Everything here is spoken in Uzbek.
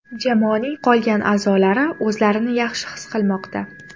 Jamoaning qolgan a’zolari o‘zlarini yaxshi his qilmoqda.